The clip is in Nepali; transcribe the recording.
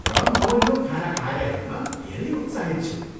र म यो खाना खाएर हेर्न धेरै उत्साहित छु।